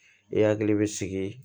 I hakili bɛ sigi